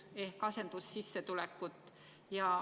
See peaks ju olema asendussissetulek.